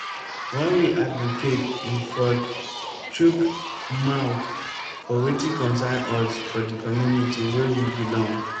when we advocate we fot chook mouth for wetin concern us for di community wey we belong